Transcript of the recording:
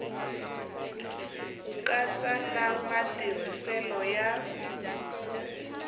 ku katsa na matirhiselo ya